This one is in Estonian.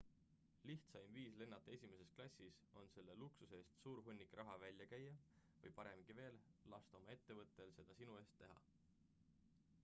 lihtsaim viis lennata esimeses klassis on selle luksuse eest suur hunnik raha välja käia või paremgi veel lasta oma ettevõttel seda sinu eest teha